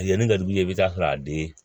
A yani ka d'u ye i bi taa sɔrɔ a bi den